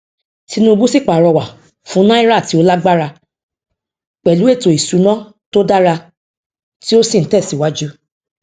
tinubu sì pàrọwà fún náírà tí ó lágbára pẹlú ètò ìsúná tó dára tí ó sì ń tẹ síwájú